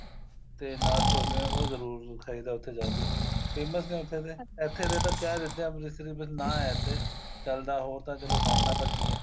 ਤੇ ਨਾਲ ਛੋਲੇ ਉਹ ਜਰੂਰ ਖਾਈਦਾ ਉੱਥੇ ਜਾ ਕੇ famous ਨੇ ਉੱਥੇ ਦੇ ਇੱਥੇ ਦੇ ਤਾਂ ਕਹਿ ਦਿੰਦੇ ਅੰਮ੍ਰਿਤਸਰੀ ਬੱਸ ਨਾ ਏ ਇੱਥੇ ਚੱਲਦਾ ਹੋਰ ਤਾਂ ਚਲੋ ਬਣਨਾ ਤਾਂ ਕੀ ਏ